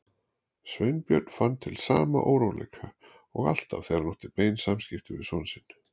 Sveinbjörn fann til sama óróleika og alltaf þegar hann átti bein samskipti við son sinn.